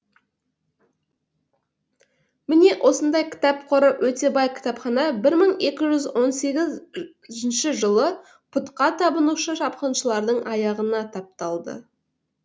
міне осындай кітап қоры өте бай кітапхана бір мың екі жүз он сегізінші жылы пұтқа табынушы шапқыншылардың аяғына тапталды